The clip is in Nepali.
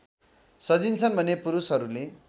सजिन्छन् भने पुरूषहरूले